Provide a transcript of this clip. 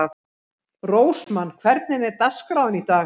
Rósmann, hvernig er dagskráin í dag?